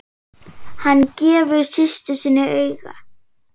Hann gefur systur sinni auga.